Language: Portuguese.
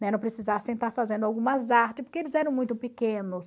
Né? Não precisassem estar fazendo algumas artes, porque eles eram muito pequenos.